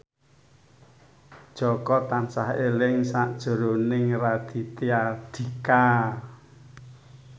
Jaka tansah eling sakjroning Raditya Dika